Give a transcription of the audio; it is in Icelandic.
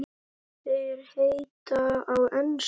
Þær heita á ensku